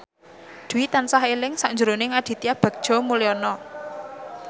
Dwi tansah eling sakjroning Aditya Bagja Mulyana